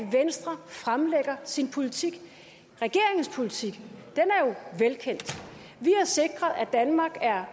venstre fremlægger sin politik regeringens politik er jo velkendt vi har sikret at danmark er